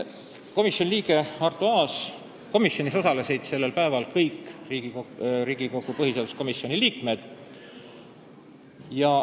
Komisjoni istungil osalesid sellel päeval kõik Riigikogu põhiseaduskomisjoni liikmed.